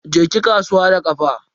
Je ki kasuwa da kafa.